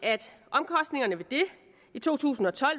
i to tusind og tolv